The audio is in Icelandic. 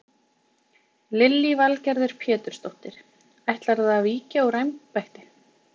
Lillý Valgerður Pétursdóttir: Ætlarðu að víkja úr embætti?